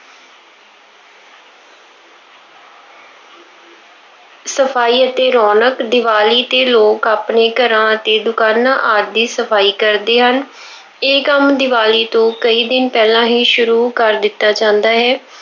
ਸਫਾਈ ਅਤੇ ਰੌਣਕ- ਦੀਵਾਲੀ ਤੇ ਲੋਕ ਆਪਣੇ ਘਰਾਂ ਅਤੇ ਦੁਕਾਨਾਂ ਆਦਿ ਦੀ ਸਫਾਈ ਕਰਦੇ ਹਨ। ਇਹ ਕੰਮ ਦੀਵਾਲੀ ਤੋਂ ਕਈ ਦਿਨ ਪਹਿਲਾਂ ਹੀ ਸ਼ੁਰੂ ਕਰ ਦਿੱਤਾ ਜਾਂਦਾ ਹੈ।